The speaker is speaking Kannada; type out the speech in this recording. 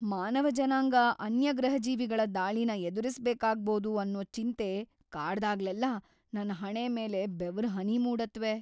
ಮಾನವ ಜನಾಂಗ ಅನ್ಯಗ್ರಹಜೀವಿಗಳ ದಾಳಿನ ಎದುರಿಸ್ಬೇಕಾಗ್ಬೋದು ಅನ್ನೋ ಚಿಂತೆ ಕಾಡ್ದಾಗ್ಲೆಲ್ಲ ನನ್ ಹಣೆ ಮೇಲೆ ಬೆವರ್‌ಹನಿ ಮೂಡತ್ವೆ.